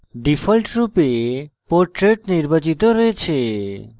ডিফল্টরূপে portrait নির্বাচিত রয়েছে